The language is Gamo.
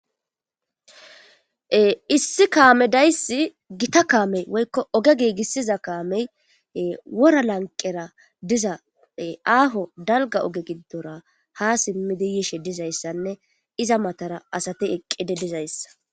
Issi kaame dayssi gita kaamey woykko oge giigissiza kaamey wora lanqera diza aaho dalga oge giddora ha simmidi yishe dizayssanne iza matara asati eqqide dizayssa.